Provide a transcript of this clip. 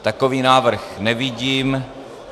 Takový návrh nevidím.